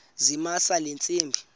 zamisa le ntsimbi